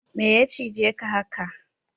Meya cije ka haka?